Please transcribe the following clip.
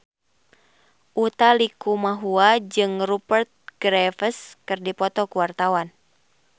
Utha Likumahua jeung Rupert Graves keur dipoto ku wartawan